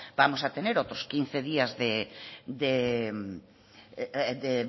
vamos a tener otros quince días de